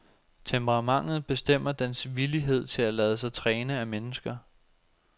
Temperamentet bestemmer dens villighed til at lade sig træne af mennesker.